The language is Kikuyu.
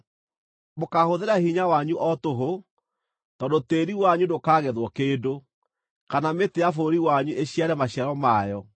Mũkaahũthĩra hinya wanyu o tũhũ, tondũ tĩĩri wanyu ndũkagethwo kĩndũ, kana mĩtĩ ya bũrũri wanyu ĩciare maciaro mayo.